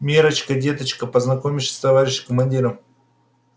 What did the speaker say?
миррочка деточка познакомишься с товарищем командиром